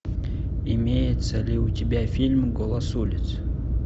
имеется ли у тебя фильм голос улиц